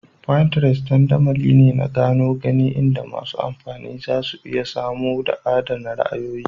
Pinterest dandamali ne na gano gani inda masu amfani zasu iya samowa da adAna ra'ayoyi